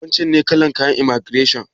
Wancen ne kalar kayan imaigireshon?